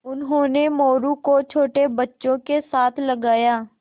उन्होंने मोरू को छोटे बच्चों के साथ लगाया